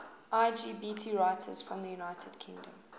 lgbt writers from the united kingdom